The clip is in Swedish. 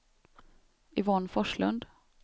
Yvonne Forslund